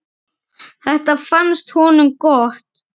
Þetta fannst honum gott.